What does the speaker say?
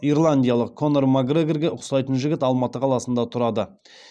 ирландиялық конор макгрегорға ұқсайтын жігіт алматы қаласында тұрады